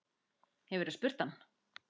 Hefurðu spurt hann?